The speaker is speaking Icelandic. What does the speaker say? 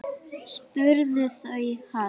spurðu þau hann.